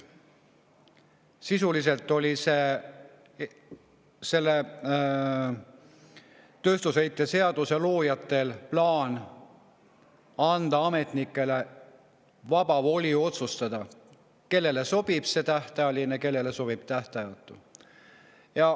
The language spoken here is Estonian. Sisuliselt oli selle tööstusheite seaduse loojatel plaan anda ametnikele vaba voli otsustada, kellele sobib tähtajaline ja kellele sobib tähtajatu.